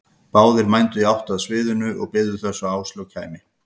Báðir mændu í átt að sviðinu og biðu þess að Áslaug kæmi.